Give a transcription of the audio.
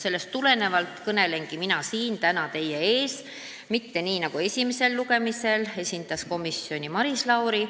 Sellest tulenevalt kõnelengi mina siin täna teie ees, mitte nii nagu esimesel lugemisel, kui komisjoni esindas Maris Lauri.